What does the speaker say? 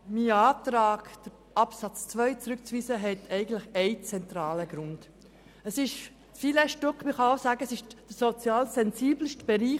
Mein Antrag, Absatz 2 zurückzuweisen, hat einen zentralen Grund: Was wir gleich diskutieren, ist das Filetstück, der sozial sensibelste Bereich.